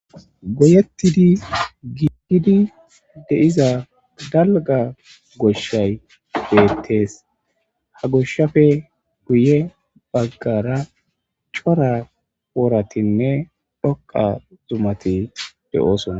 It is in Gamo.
Goyettidi giigidi deiza dalga goshshay deettes ha goshshafe guye baggara cora wooratinne dhoqa zumati de7oosonna.